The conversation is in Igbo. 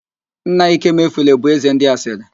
Nna Ikemefule bụ ézē ndị asịrị